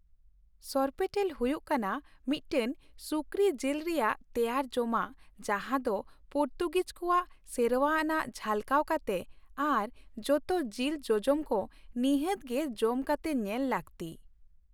ᱥᱚᱨᱯᱳᱴᱮᱞ ᱦᱩᱭᱩᱜ ᱠᱟᱱᱟ ᱢᱤᱫᱴᱟᱝ ᱥᱩᱠᱨᱤ ᱡᱤᱞ ᱨᱮᱭᱟᱜ ᱛᱮᱭᱟᱨ ᱡᱚᱢᱟᱜ ᱡᱟᱦᱟᱸ ᱫᱚ ᱯᱩᱨᱛᱩᱜᱤᱡ ᱠᱚᱣᱟᱜ ᱥᱮᱨᱣᱟ ᱟᱱᱟᱜ ᱡᱷᱟᱞᱠᱟᱣ ᱠᱟᱛᱮ ᱟᱨ ᱡᱚᱛᱚ ᱡᱤᱞ ᱡᱚᱡᱚᱢ ᱠᱚ ᱱᱤᱦᱟᱹᱛ ᱜᱮ ᱡᱚᱢ ᱠᱟᱛᱮ ᱧᱮᱞ ᱞᱟᱹᱠᱛᱤ ᱾